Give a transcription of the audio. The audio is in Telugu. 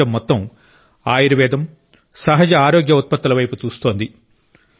ప్రపంచం మొత్తం ఆయుర్వేదం సహజ ఆరోగ్య ఉత్పత్తుల వైపు చూస్తోంది